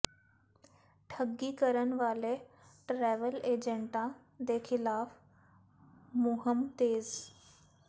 ਠੱਗੀ ਕਰਨ ਵਾਲੇ ਟਰੈਵਲ ਏਜੰਟਾਂ ਦੇ ਖ਼ਿਲਾਫ ਮੁਹਿੰਮ ਤੇਜ਼